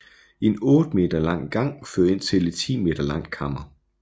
En 8 meter lang gang fører ind til et 10 meter langt kammer